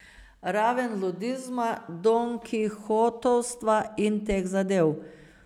Raven ludizma, donkihotovstva in teh zadev.